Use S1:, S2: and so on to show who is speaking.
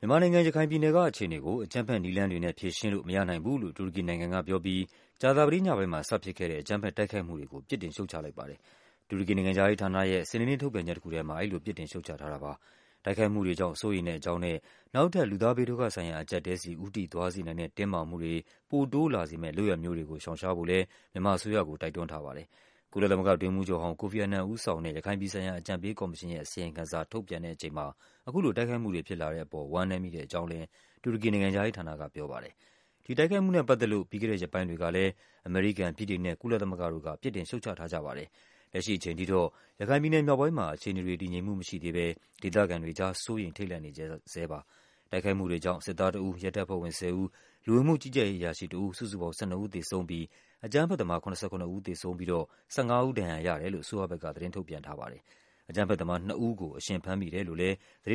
S1: မြန်မာနိုင်ငံ၊ ရခိုင်ပြည်နယ်ကအခြေအနေကို အကြမ်းဖက်နည်းလမ်းတွေနဲ့ ဖြေရှင်းလို့ မရနိုင်ဘူးလို့ တူရကီနိုင်ငံကပြောပြီး ကြာသပတေးညပိုင်းမှာ စဖြစ်ခဲ့တဲ့ အကြမ်းဖက် တိုက်ခိုက်မှုတွေကို ပြစ်တင်ရှုတ်ချလိုက်ပါတယ်။ တူရကီနိုင်ငံခြားရေးဌာနရဲ့ စနေနေ့ ထုတ်ပြန်ချက်တခုထဲမှာ အဲဒီလိုပြစ်တင်ရှုတ်ချ ထားတာပါ။ တိုက်ခိုက်မှုတွေကြောင့် စိုးရိမ်တဲ့ အကြောင်းနဲ့ နောက်ထပ် လူသားဘေးဒုက္ခ ဆိုင်ရာ အကျပ်အတည်းဆီ ဦးတည်သွားစေနိုင်တဲ့ တင်းမာမှုတွေ ပိုတိုးလာစေမယ့် လုပ်ရပ်မျိုးတွေကိုရှောင်ရှားဖို့လဲ မြန်မာအစိုးရကို တိုက်တွန်းထားပါတယ်။ ကုလသမဂ္ဂအတွင်းရေးမှူးချုပ်ဟောင်း ကိုဖီအာနန် ဦးဆောင်တဲ့ ရခိုင်ပြည်ဆိုင်ရာ အကြံပေးကော်မရှင်ရဲ့ အစီရင်ခံစာ ထုတ်ပြန် တဲ့အချိန်မှာ အခုလိုတိုက်ခိုက်မှုတွေ ဖြစ်လာတဲ့အပေါ် ဝမ်းနည်းမိတဲ့အကြောင်းလဲ တူရကီနိုင်ငံခြားရေးဌာနက ပြောပါတယ်။ ဒီတိုက်ခိုက်မှုနဲ့ပတ်သက်လို့ ပြီးခဲ့တဲ့ရက်ပိုင်းတွေကလဲ အမေရိကန်၊ ဗြိတိန်နဲ့ ကုလသမဂ္ဂ တို့ကလဲ ပြစ်တင် ရှုတ်ချထားကြပါ တယ်။ လက်ရှိအချိန်ထိတော့ ရခိုင်ပြည်နယ်မြောက်ပိုင်းမှာ အခြေအနေတွေ တည်ငြိမ်မှုမရှိသေးဘဲ ဒေသခံတွေကြား စိုးရိမ် ထိတ်လန့်နေကြဆဲပါ။ တိုက်ခိုက်မှုတွေကြောင့် စစ်သားတဦး၊ ရဲတပ်ဖွဲ့ဝင် ၁၀ ဦး၊ လူဝင်မှုကြီးကြပ်ရေး အရာရှိ တဦး စုစုပေါင်း ၁၂ ဦးသေဆုံးပြီး အကြမ်း ဖက်သမား ၇၇ ဦး သေဆုံးပြီးတော့ ၁၅ ဦး ဒဏ်ရာရတယ်လို့ အစိုးရဘက်က သတင်းထုတ်ပြန်ထားပါတယ်။ အကြမ်းဖက်သမား နှစ်ဦးကို အရှင်ဖမ်းမိတယ်လို့လဲ